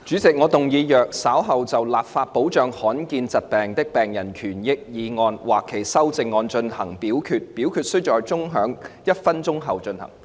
主席，我動議若稍後就"立法保障罕見疾病的病人權益"所提出的議案或修正案再進行點名表決，表決須在鐘聲響起1分鐘後進行。